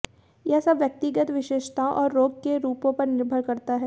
यह सब व्यक्तिगत विशेषताओं और रोग के रूपों पर निर्भर करता है